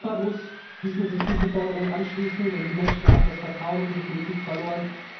Europa muss sich diesen Forderungen anschließen, denn die Menschen haben das Vertrauen in die Politik verloren.